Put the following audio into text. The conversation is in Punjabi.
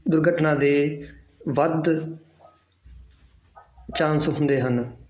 ਦੁਰਘਟਨਾ ਦੇ ਵੱਧ chance ਹੁੰਦੇ ਹਨ